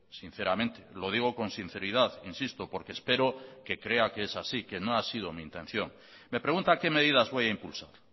sinceramente lo digo con sinceridad insisto porque espero que crea que es así que no ha sido mi intención me pregunta qué medidas voy a impulsar